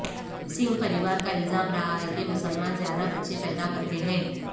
سنگھ پریوار کا الزام رہا ہے کہ مسلمان زیادہ بچے پیدا کرتے ہیں